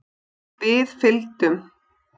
Við fylgdum